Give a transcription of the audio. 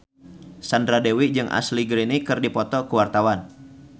Sandra Dewi jeung Ashley Greene keur dipoto ku wartawan